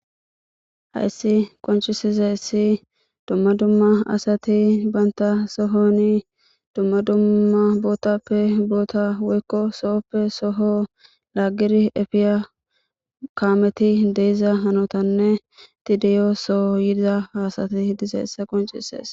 Hayssi qonccisizayss dumma dumma asati issi banta sohoni dumma dumma bootappe boota woyko sohoppe soho lagid efiya kammeti efiya hanotanne eti de'iya soho yida ha asati gididaysa qoncises